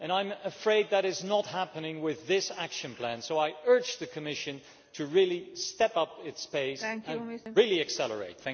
I am afraid that is not happening with this action plan, so I urge the Commission to step up its pace and really accelerate.